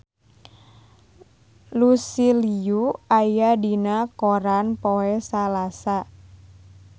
Lucy Liu aya dina koran poe Salasa